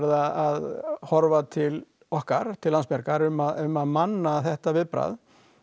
að horfa til okkar til Landsbjargar um að um að manna þetta viðbragð